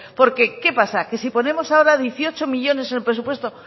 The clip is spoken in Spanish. porque qué pasa qué si ponemos ahora dieciocho millónes en el presupuesto